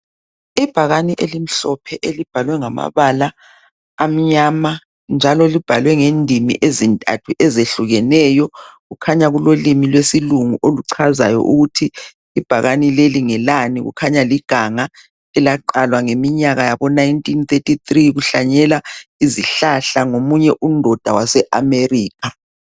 Ibhakane elimhlophe elibhalwe ngama bala amnyama njalo libhalwe ngendimi ezintathu ezehlukeneyo, kukhanya kulolimi lwe silungu oluchazayo ukuthi i bhakane leli ngelani kukhanya liganga elaqalwa ngeminyaka yabo 1933 kuhlanyelwa izihlahla ngomunye undoda wase America.